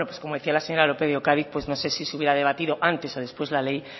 como decía la señora lópez de ocariz pues no sé si se hubiera debatido antes o después la ley